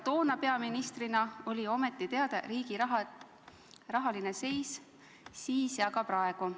Teile peaministrina oli ju ometi teada riigi rahaline seis siis ja on ka praegu.